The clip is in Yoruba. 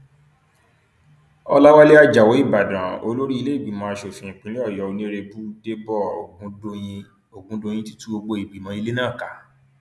ọlàwálẹ ajáò ìbàdàn olórí ìlèégbìmọ asòfin ìpínlẹ ọyọ onírèbù dẹbó ọgùndọyìn ọgùndọyìn ti tú gbogbo ìgbìmọ ilẹ náà ká